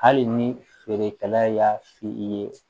Hali ni feerekɛla y'a f'i ye